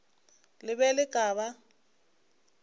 le be le ka ba